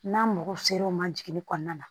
N'a ma mɔgɔ ser'o ma jiginni kɔɔna na